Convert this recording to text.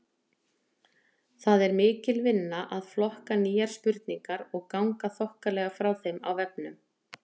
Það er mikil vinna að flokka nýjar spurningar og ganga þokkalega frá þeim á vefnum.